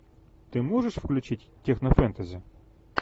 ты можешь включить технофэнтези